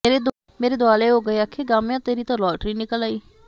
ਮੇਰੇ ਦੁਆਲੇ ਹੋ ਗਏ ਅਖੇ ਗਾਮਿਆਂ ਤੇਰੀ ਤਾਂ ਲਾਟਰੀ ਨਿਕਲ ਆਈ